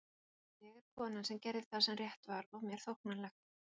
Ég er konan sem gerði það sem rétt var og mér þóknanlegt.